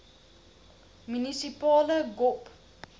munisipale gop